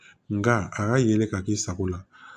Nka a ka yelen ka k'i sago la